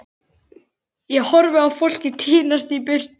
Ég horfi á fólkið tínast í burtu.